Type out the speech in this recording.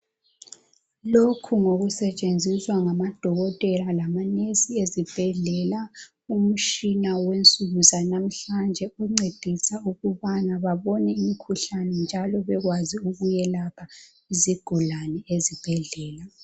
Lokhu ngokusetshenziswa ngamadokotela labonesi ezibhedlela. Umtshina wensuku zanamuhlanje oncedisa ukubana babone imikhuhlane njalo benelise ukwelapha izigulane ezibhedlela.